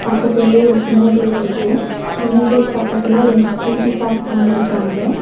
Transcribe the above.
பக்கத்துலயே ஒரு சின்ன கேட் இருக்கு சின்ன கேட் பக்கத்துல ரெண்டு ஸ்கூட்டி பார்க் பண்ணியிருக்காங்க.